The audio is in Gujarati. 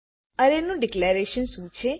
અરે નું ડીકલેરેશન શું છે